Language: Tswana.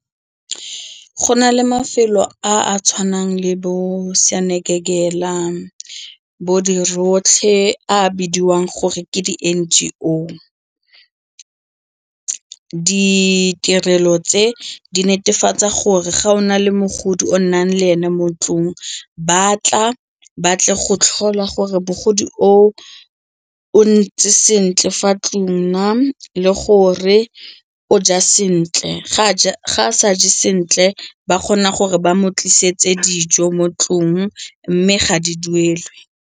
Go na le mafelo a a tshwanang le bo a bidiwang gore ke di N_G_O. Ditirelo tse di netefatsa gore ga o na le mogodi o nnang le ene mo ntlong ba tla ba tle go tlhola gore mogodi oo o ntse sentle fa ntlong na le gore o ja sentle, ga a sa je sentle ba kgona gore ba mo tlisetse dijo mo ntlong mme ga di duelwe.